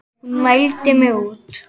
Hún mældi mig út.